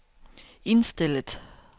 indstillet